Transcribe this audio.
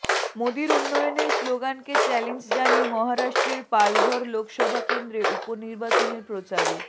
মোদীর উন্নয়নের স্লোগানকে চালেঞ্জ জানিয়ে মহারাষ্ট্রের পালঘর লোকসভা কেন্দ্রে উপনির্বাচনের প্রচারে